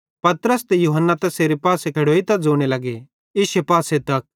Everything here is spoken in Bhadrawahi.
पतरस ते यूहन्ना तैसेरे पासे खेड़ोइतां ज़ोने लगे इश्शे पासे तक